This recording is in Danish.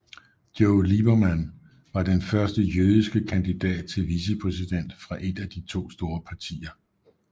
Joe Lieberman var den første jødiske kandidat til vicepræsident fra et af de to store partier